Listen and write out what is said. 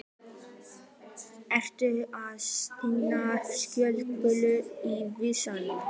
Ertu að stinga kjötbollu í vasann?